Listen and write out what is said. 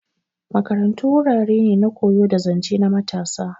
Makarantu wurare ne na koyo da zance na matasa.